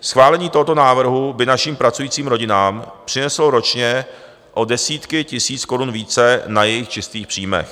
Schválení tohoto návrhu by našim pracujícím rodinám přineslo ročně o desítky tisíc korun více na jejich čistých příjmech.